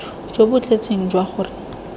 jo bo tletseng jwa gore